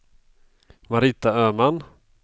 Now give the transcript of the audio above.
Marita Öman